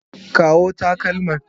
Kawo takalma.